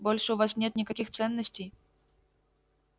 больше у вас нет никаких ценностей